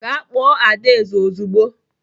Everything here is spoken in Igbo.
Gaa kpọọ Adaeze ozugbo!